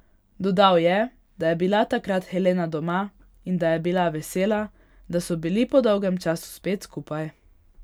Dodal je, da je bila takrat Helena doma in da je bila vesela, da so bili po dolgem času spet skupaj.